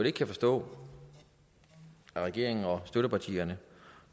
ikke kan forstå regeringen og støttepartierne